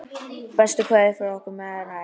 Bestu kveðjur frá okkur Marie.